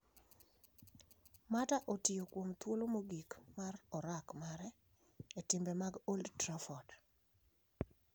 Mata otiyo kuom thuolo mogik mar orak mare e timbe mag old Trafford.